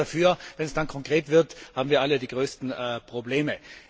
Wir sind alle dafür, wenn es dann aber konkret wird, haben wir alle die größten Probleme.